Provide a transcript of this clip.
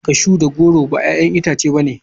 Cashew ba goro ba 'ya'yan itace ne.